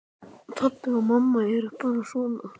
Pabbi og mamma eru bara svona.